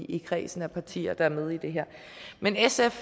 i kredsen af partier der er med i det her men sf